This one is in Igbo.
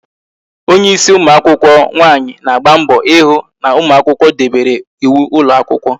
Onye ịsị ụmụakwụkwọ nwaanyi na-agba mbọ ịhụ na ụmụakwụkwọ debere ịwụ ụlọ akwụkwọ